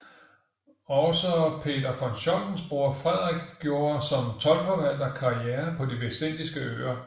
Også Peter von Scholtens bror Frederik gjorde som toldforvalter karriere på De vestindiske Øer